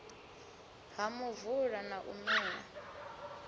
ha muvula na u mela